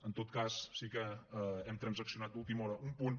en tot cas sí que hem transaccionat d’última hora un punt